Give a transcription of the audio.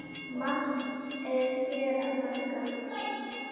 Margt er hér að þakka